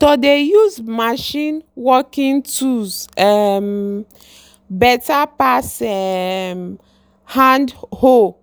to dey use machine working tools um better pass um hand hoe